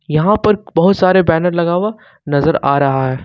यहां पर बहुत सारे बैनर लगा हुआ नजर आ रहा है।